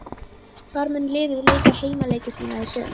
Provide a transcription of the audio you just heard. Hvar mun liðið leika heimaleiki sína í sumar?